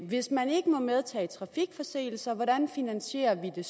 hvis man ikke må medtage trafikforseelser hvordan finansierer vi det